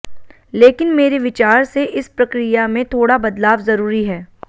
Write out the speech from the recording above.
लेकिन मेरे विचार से इस प्रक्रिया में थोड़ा बदलाव जरूरी है